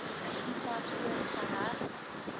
u paspoort geheg